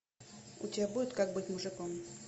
у тебя будет как быть мужиком